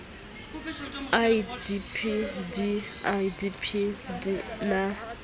idp di idp di na